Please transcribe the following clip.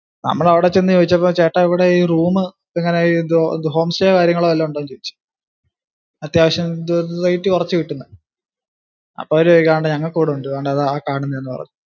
നമ്മളവിടെ ചെന്ന് ചോദിച്ചപ്പോ ചേട്ടാ ഇവിടെ ഈ room എങ്ങിനാ ഈ home stay കാര്യങ്ങളോ വല്ലോം ഉണ്ടോ എന്ന് ചോദിച്ചു അത്യാവശ്യം rate കുറച്ചു കിട്ടുന്ന അപ്പോ അവര് ചോദിക്കുവാ ആണ്ട് ഞങ്ങൾക്ക് അവിടുണ്ട് ദാ അതാ ആ കാണൂന്നയാന്നു പറഞ്ഞു.